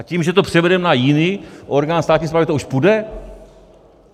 A tím, že to převedeme na jiný orgán státní správy, to už půjde?